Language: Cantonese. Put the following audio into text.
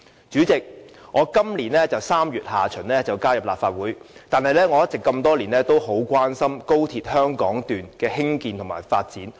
主席，我在今年3月下旬加入立法會，但多年來一直很關心高鐵香港段的興建和發展。